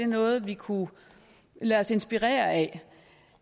noget vi kunne lade os inspirere af